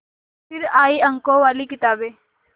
फिर आई अंकों वाली किताबें